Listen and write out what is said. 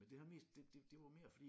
Men det har mest det det det var mere fordi